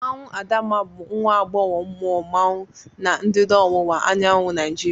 Mmanwụ Adamma bụ nwa agbọghọ mmụọ mmanwụ na ndịda ọwụwa anyanwụ Nigeria.